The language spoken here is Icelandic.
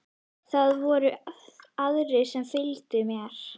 Það voru aðrir sem fylgdu mér.